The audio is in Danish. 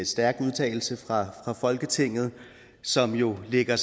stærk udtalelse fra folketinget som jo vil være